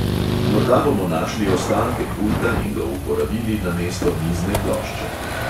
Morda bomo našli ostanke pulta in ga uporabili namesto mizne plošče.